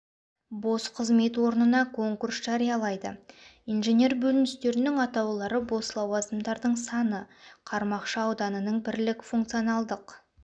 бос қызмет орнына конкурс жариялайды инженер бөліністерінің атаулары бос лауазымдардың саны қармақшы ауданының бірлік функционалдық